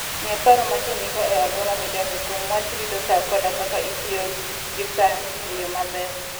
Ng'e paro ma ji nigo e alwora midakie kuom wach rito sa koda kaka itiyo gi sa e yo maber.